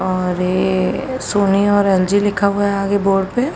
और ये सोनी और एलजी लिखा हुआ है आगे बोर्ड पे।